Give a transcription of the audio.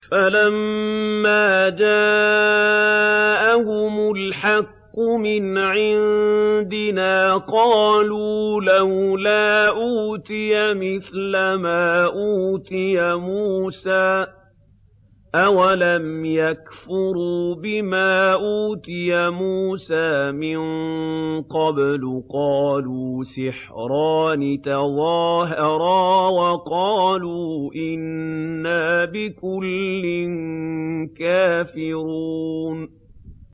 فَلَمَّا جَاءَهُمُ الْحَقُّ مِنْ عِندِنَا قَالُوا لَوْلَا أُوتِيَ مِثْلَ مَا أُوتِيَ مُوسَىٰ ۚ أَوَلَمْ يَكْفُرُوا بِمَا أُوتِيَ مُوسَىٰ مِن قَبْلُ ۖ قَالُوا سِحْرَانِ تَظَاهَرَا وَقَالُوا إِنَّا بِكُلٍّ كَافِرُونَ